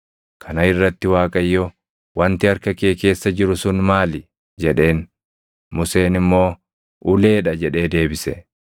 Kana irratti Waaqayyo, “Wanti harka kee keessa jiru sun maali?” jedheen. Museen immoo, “Ulee dha” jedhee deebise.